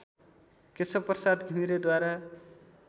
Keshav Prasad घिमिरेद्वारा